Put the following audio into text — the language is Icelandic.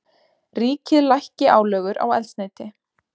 Ríkið lækki álögur á eldsneyti